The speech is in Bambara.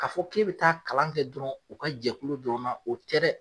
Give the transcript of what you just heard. Ka fɔ k'e bi taa kalan kɛ dɔrɔn, u ka jɛkulu dɔrɔn na, o tɛ dɛ